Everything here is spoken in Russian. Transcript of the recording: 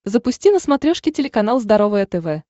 запусти на смотрешке телеканал здоровое тв